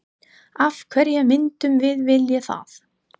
Af hverju myndum við vilja það?